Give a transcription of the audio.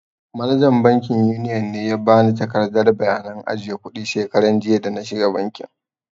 Manajan bankin yuniyon ne ya ba ni takardar bayanan ajiye kuɗi shekaran jiya da na shiga banki.